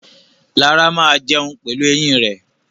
Lara máa jẹun pelu eyín rẹ̀.